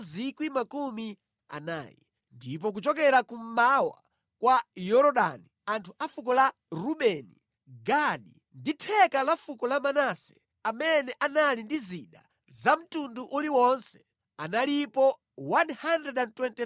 Ndipo kuchokera kummawa kwa Yorodani, anthu a fuko la Rubeni, Gadi ndi theka la fuko la Manase, amene anali ndi zida za mtundu uliwonse analipo 120,000.